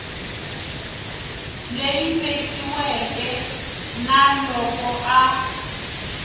leyi vekiweke na loko a